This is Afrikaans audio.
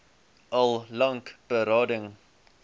al lank berading